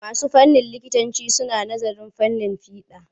Masu nazarin fannin likitanci suna nazarin fiɗa.